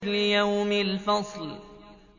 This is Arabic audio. لِيَوْمِ الْفَصْلِ